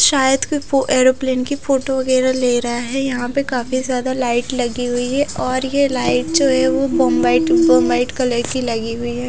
शायद कोई फो एरोप्लेन की फोटो वगैरह ले रहा है यहां पे काफी ज्यादा लाइट लगी हुई है और ये लाइट जो है वो बो वाइट बो व्हाइट कलर की लगी हुई है।